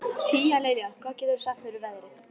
Tíalilja, hvað geturðu sagt mér um veðrið?